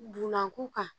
Dunankun kan